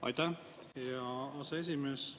Aitäh, hea aseesimees!